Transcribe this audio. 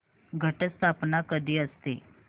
घट स्थापना कधी असते